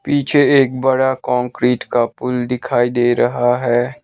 पीछे एक बड़ा कॉंक्रीट का पूल दिखाई दे रहा है।